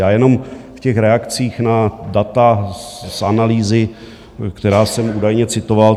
Já jenom v těch reakcích na data z analýzy, která jsem údajně citoval.